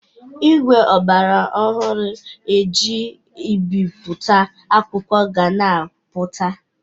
Igwe ọgbara ọhụrụ e ji ebipụta akwụkwo ga na-apụta.